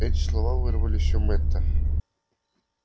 эти слова вырвались у мэтта